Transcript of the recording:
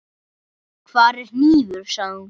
Hvar er hnífur, sagði hún.